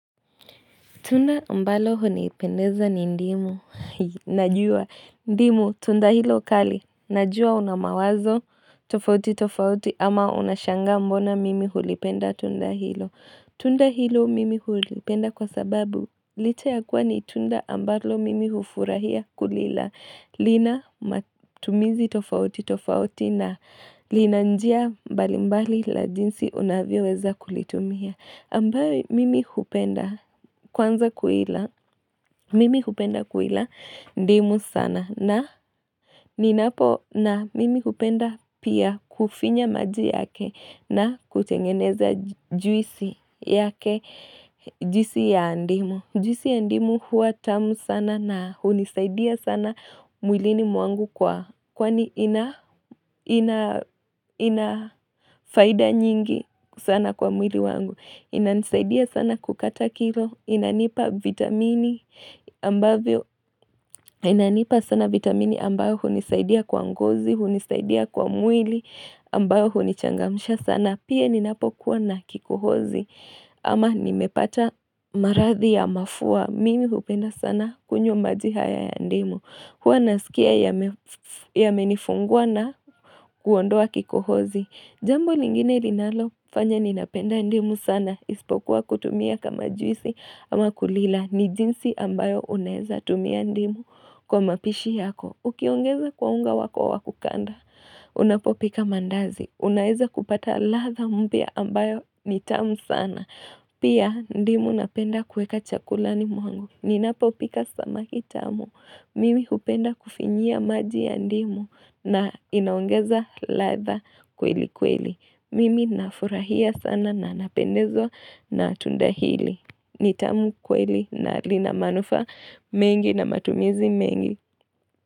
Tunda mbalo hunipendeza ni ndimu, najua, ndimu tunda hilo ukali, najua unamawazo tofauti tofauti ama unashanga mbona mimi hulipenda tunda hilo. Tunda hilo mimi hulipenda kwa sababu lite ya kuwa ni tunda mbalo mimi hufurahia kulila, lina matumizi tofauti tofauti na lina njia balimbali la jinsi unavyo weza kulitumia. Ambayo mimi kupenda kwanza kuila, mimi kupenda kuila ndimu sana na ninapo na mimi kupenda pia kufinya maji yake na kuchengeneza juisi yake jisi ya ndimu. Njisi ya ndimu huwa tamu sana na hunisaidia sana mwilini mwangu kwa kwani inafaida nyingi sana kwa mwili wangu inanisaidia sana kukata kilo, inanipa vitamini ambayo hunisaidia kwa ngozi, hunisaidia kwa mwili ambayo hunichangamusha sana na pia ninapokuwa na kikohozi ama nimepata marathi ya mafua. Mimi upenda sana kunyo majihaya ya ndimu. Kwa nasikia ya menifungua na kuondoa kikohozi. Jambo lingine rinalo fanya ninapenda ndimu sana. Ispokuwa kutumia kama juisi ama kulila. Ni jinsi ambayo unaeza tumia ndimu kwa mapishi yako. Ukiongeza kwaunga wako wakukanda. Unapopika mandazi. Unaeza kupata latha mbia ambayo ni tamu sana. Pia ndimu napenda kweka chakulani mwangu. Ninapo pika samaki tamu. Mimi kupenda kufinyia maji ya ndimu na inaongeza latha kweli kweli. Mimi nafurahia sana na napendezwa na atundahili. Ni tamu kweli na linamanufaa mengi na matumizi mengi.